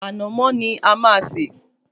Ànàmọ́ ni a máa sè